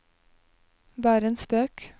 bare en spøk